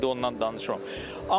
Mən indi ondan danışmıram.